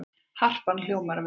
Harpan hljómar vel